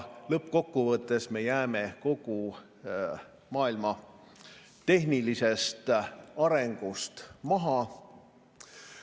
Lõppkokkuvõttes me jääme kogu maailma tehnilisest arengust maha.